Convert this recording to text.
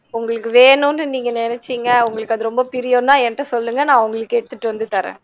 உங்களுக்கு வேணுன்னு நீங்க நெனச்சிங்க உங்களுக்கு அது ரொம்ப பிரியம்னா எனக்கிட்ட சொல்லுங்க நா உங்களுக்கு எடுத்துட்டு வந்து தர்றேன்